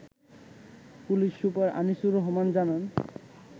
police super Anisur Rahman জানান